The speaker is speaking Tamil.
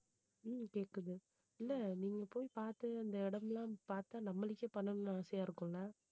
உம் கேக்குது இல்ல, நீங்க போய் பாத்து அந்த இடம் எல்லாம் பாத்தா நம்மளுக்கே பண்ணணும்னு ஆசையா இருக்கும்ல